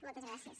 moltes gràcies